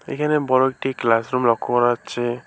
এখানে বড়ো একটি ক্লাসরুম লক্ষ্য করা যাচ্ছে।